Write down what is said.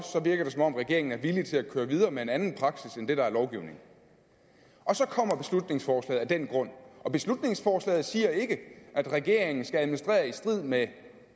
virker det som om regeringen er villig til at køre videre med en anden praksis end det der er lovgivningen og så kommer beslutningsforslaget af den grund og beslutningsforslaget siger ikke at regeringen skal administrere i strid med